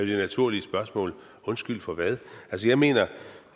det naturlige spørgsmål undskyld for hvad altså jeg mener